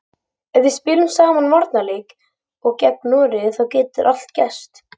Ef við spilum sama varnarleik og gegn Noregi þá getur allt gerst.